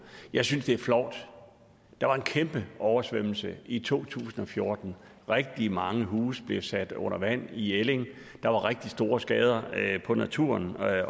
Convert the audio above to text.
jeg synes det er flovt der var en kæmpe oversvømmelse i to tusind og fjorten rigtig mange huse blev sat under vand i elling der var rigtig store skader på natur